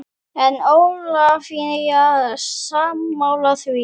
En er Ólafía sammála því?